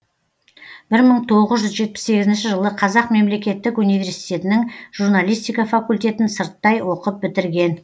бір мың тоғыз жүз жетпіс сегізінші жылы қазақ мемлекеттік университетінің журналистика факультетін сырттай оқып бітірген